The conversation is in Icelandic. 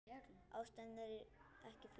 Ástæðan ekki flókin.